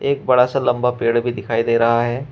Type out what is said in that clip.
एक बड़ा सा लंबा पेड़ भी दिखाई दे रहा है।